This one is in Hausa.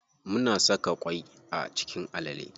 Muna saka ƙwai a cikin alale.